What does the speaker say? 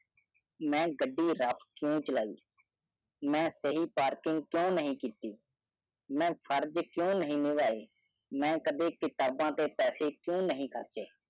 ਮੈਂ ਗੱਡੀ rough ਕਿਊ ਚਲਾਈ ਮੈਂ parking ਕ੍ਯੂਂ ਨਹੀਂ ਕੀਤੀ ਮੈਂ ਫਰਜ ਕ੍ਯੂਂ ਨਹੀਂ ਨਿਵਾਏ ਮੈਂ ਕਦੀ ਕਤਾਬਾਂ ਤੇ ਪੈਸੇ ਕ੍ਯੂਂ ਨਹੀਂ ਖਰਚੇ